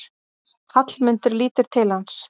Hallmundur lítur til hans.